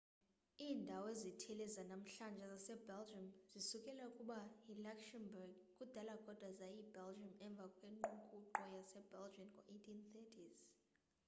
iindawo ezithile zanamhlanje zasebelgium zisukela kuba yiluxembourg kudala kodwa zayi yibelgian emva kwengququko yase belgian ngo 1830s